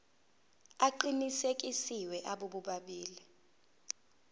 aqinisekisiwe abo bobabili